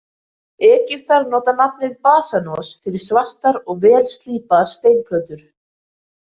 Egyptar nota nafnið basanos fyrir svartar og vel slípaðar steinplötur.